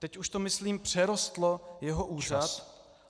Teď už to, myslím, přerostlo jeho úřad.